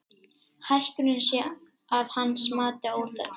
Hækkunin sé að hans mati óþörf